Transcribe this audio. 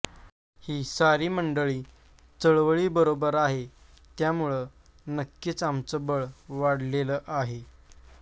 ही सारी मंडळी चळवळीबरोबर आहे त्यामुळं नक्कीच आमचं बळ वाढलेलं आहे